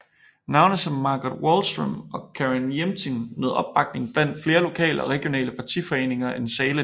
Navne som Margot Wallström og Carin Jämtin nød opbakning blandt flere lokale og regionale partiforeninger end Sahlin